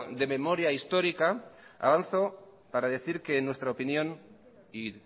de memoria histórica avanzo para decir que en nuestra opinión y